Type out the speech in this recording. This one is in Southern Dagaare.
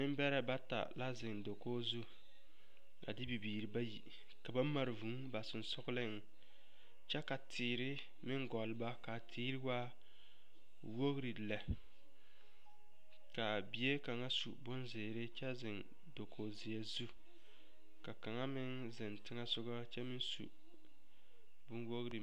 Nembɛrɛ bata la zeŋ dakogi zu a de bibiiri bayi ka ba mare vūū ba sensɔŋleŋ kyɛ ka teere meŋ gɔleba ka a teere waa wogri lɛ ka a bie kaŋa su bonzeere kyɛ zeŋ dakogi zeɛ zu ka meŋ zeŋɛ soga kyɛ meŋ su bonwogri.